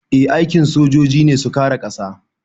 Eh aikin sojoji ne su kare ƙasa